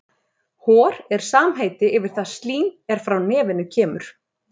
Hor er samheiti yfir það slím er frá nefinu kemur.